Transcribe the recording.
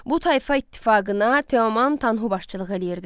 Bu tayfa ittifaqına Teoman Tanhu başçılıq eləyirdi.